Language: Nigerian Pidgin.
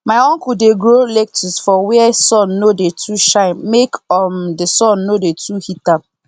my uncle dey grow lettuce for where sun no dey too shine make um the sun no dey too heat am